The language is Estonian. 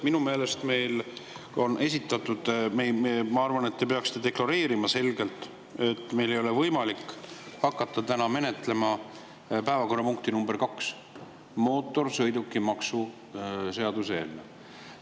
Ma arvan, et te peaksite deklareerima selgelt, et meil ei ole võimalik hakata täna menetlema päevakorrapunkti nr 2, mootorsõidukimaksu seaduse eelnõu.